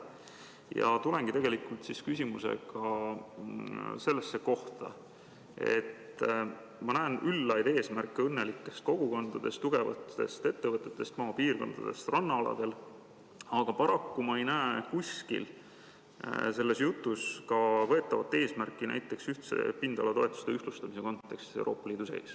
Ja tulengi tegelikult küsimusega sellesse kohta: ma näen üllaid eesmärke õnnelikest kogukondadest, tugevatest ettevõtetest maapiirkondades, rannaaladel, aga paraku ma ei näe kuskil võetavat eesmärki näiteks ühtsete pindalatoetuste ühtlustamiseks Euroopa Liidu sees.